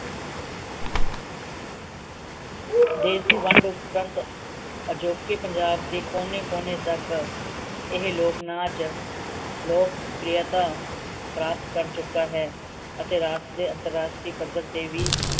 ਦੇਸ਼ ਦੀ ਵੰਡ ਉਪ੍ਰੰਤ ਅਜੋਕੇ ਪੰਜਾਬ ਦੇ ਕੋਨੇ ਕੋਨੇ ਤੱਕ ਇਹ ਲੋਕਨਾਚ ਲੋਕਪ੍ਰਿਯਤਾ ਪ੍ਰਾਪਤ ਕਰ ਚੁਕਾ ਹੈ ਅਤੇ ਰਾਸ਼ਟਰੀ ਅੰਤਰ ਰਾਸ਼ਟਰੀ ਪੱਧਰ ਤੇ ਵੀ